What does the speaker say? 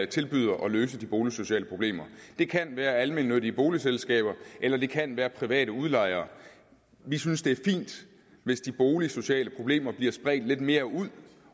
tilbyder at løse de boligsociale problemer det kan være almennyttige boligselskaber eller det kan være private udlejere vi synes det er fint hvis de boligsociale problemer bliver spredt lidt mere ud